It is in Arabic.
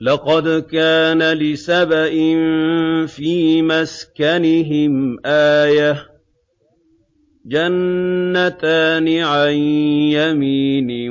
لَقَدْ كَانَ لِسَبَإٍ فِي مَسْكَنِهِمْ آيَةٌ ۖ جَنَّتَانِ عَن يَمِينٍ